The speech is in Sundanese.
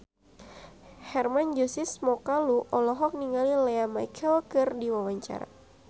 Hermann Josis Mokalu olohok ningali Lea Michele keur diwawancara